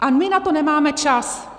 A my na to nemáme čas.